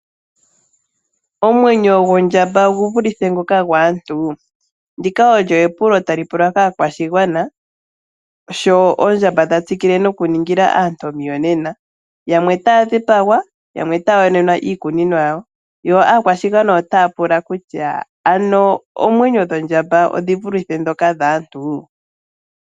Omwenyo gondjamba ogu vulithe ngoka gwaantu? Ndika olyo epulo tali pulwa kaakwashigwana. Sho oondjamba dha tsikile noku ningila aantu omiyonena . Yamwe tay dhipagwa, yamwe taya yonenwa iikunomwa yawo . Yo aakwashigwana otaya ya pula kutya ano oomwenyo dhoondjamba odhi vulithe ndhoka dhaantu?